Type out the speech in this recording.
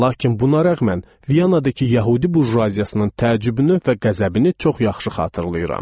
Lakin buna rəğmən Vyanadakı yəhudi burjuaziyasının təəccübünü və qəzəbini çox yaxşı xatırlayıram.